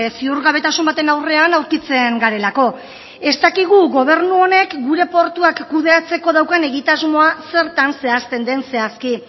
ziurgabetasun baten aurrean aurkitzen garelako ez dakigu gobernu honek gure portuak kudeatzeko daukan egitasmoa zertan zehazten den zehazki